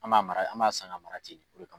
An b'a mara yan, an b'a san k'a mara ten